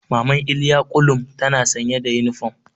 Maman Iliya kullum tana sanye da yunifom.